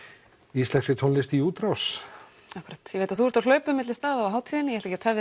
íslenskri tónlist í útrás akkúrat ég veit að þú ert að hlaupa á milli staða á hátíðinni ég ætla ekki